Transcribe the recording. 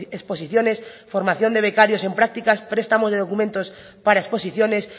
exposiciones formación de becarios en prácticas prestamos de documentos para exposiciones